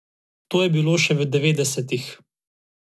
To je bilo še v devetdesetih.